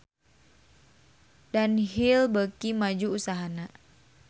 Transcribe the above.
Dunhill beuki maju usahana